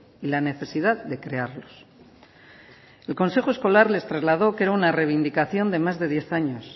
y la necesidad de crearlos el consejo escolar les trasladó que era una reivindicación de más de diez años